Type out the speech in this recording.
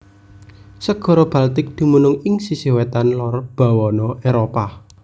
Segara Baltik dumunung ing sisih wétan lor bawana Éropah